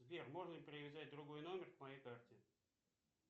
сбер можно ли привязать другой номер к моей карте